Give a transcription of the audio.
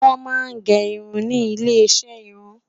wọn má gé irún ní ilè iṣẹ irun